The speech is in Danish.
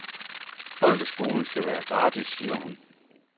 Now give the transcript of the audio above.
Folkeskolen skal være gratis, siger hun.